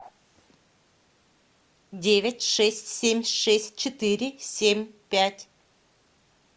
девять шесть семь шесть четыре семь пять